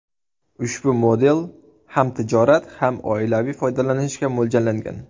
Ushbu model ham tijorat, ham oilaviy foydalanishga mo‘ljallangan.